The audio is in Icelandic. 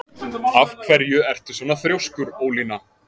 Af hverju ertu svona þrjóskur, Ólína?